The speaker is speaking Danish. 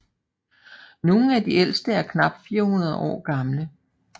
Nogle af de ældste er knap 400 år gamle